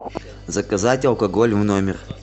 заказать алкоголь в номер